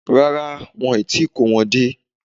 Rárá, wọn ò tíì kó wọn dé